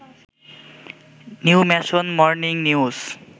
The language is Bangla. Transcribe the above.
new nation, morning news